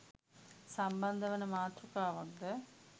සම්බන්ධ වන මාතෘකාවක්ද